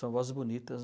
São vozes bonitas.